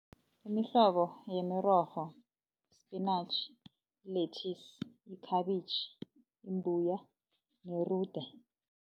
Imihlobo yemirorho, sipinatjhi, lethisi, yikhabitjhi, imbuya nerude.